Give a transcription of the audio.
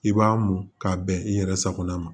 I b'a mu k'a bɛn i yɛrɛ sagona ma